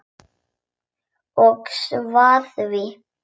Og svara því.